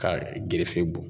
Kaa gerefe bɔ